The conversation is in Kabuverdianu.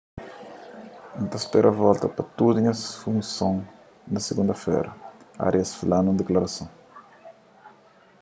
n ta spera volta pa tudu nhas funson na sigunda-fera arias fla nun diklarason